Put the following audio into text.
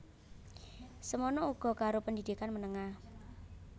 Semana uga karo pendidikan menengah